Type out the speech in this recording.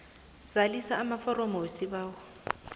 zalisa amaforomo wesibawo